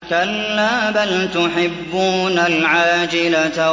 كَلَّا بَلْ تُحِبُّونَ الْعَاجِلَةَ